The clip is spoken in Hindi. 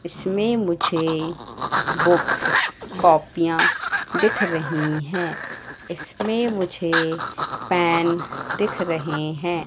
इसमें मुझे बुक्स कॉपियाँ दिख रही हैं इसमें मुझे पेन दिख रहे हैं।